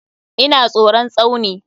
Ina tsoron Tsauni.